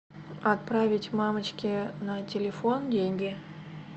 отправить мамочке на телефон деньги